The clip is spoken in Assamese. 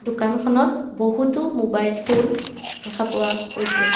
দোকানখনত বহুতো মোবাইল ফোন দেখা পোৱা গৈছে।